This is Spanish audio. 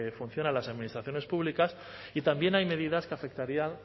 funcionan las administraciones públicas y también hay medidas que afectarían